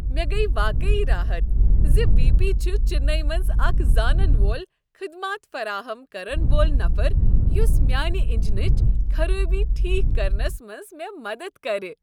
مےٚ گٔیہ واقعی راحت زِ وی۔ پی چھ چنئیی منٛز اکھ زانن وول خدمات فراہم کرن وول نفر یس میانہ انجنٕچ خرٲبی ٹھیک کرنس منٛز مےٚ مدتھ کرِ۔